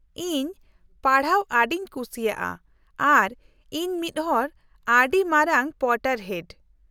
-ᱤᱧ ᱯᱟᱲᱦᱟᱜ ᱟᱹᱰᱤᱧ ᱠᱩᱥᱤᱭᱟᱜᱼᱟ ᱟᱨ ᱤᱧ ᱢᱤᱫᱦᱚᱲ ᱟᱹᱰᱤ ᱢᱟᱨᱟᱝ ᱯᱚᱴᱟᱨᱦᱮᱰ ᱾